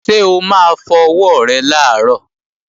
Ṣé o máa fọ ọwọ́ rẹ làárọ̀?